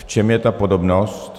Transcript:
V čem je ta podobnost?